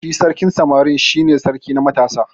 Shi sarkin samari shi ne sarki na matasa.